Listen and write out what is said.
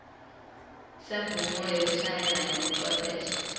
semvumo yekushayela ngebucwepheshe